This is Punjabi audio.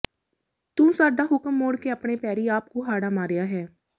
ਤੂੰ ਸਾਡਾ ਹੁਕਮ ਮੋੜ ਕੇ ਆਪਣੇ ਪੈਰੀਂ ਆਪ ਕੁਹਾੜਾ ਮਾਰਿਆ ਹੈ